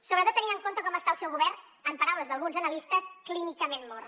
sobretot tenint en compte com està el seu govern en paraules d’alguns analistes clínicament mort